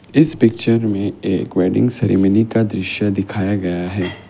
इस पिक्चर में एक वेडिंग सेरेमनी का दृश्य दिखाया गया है।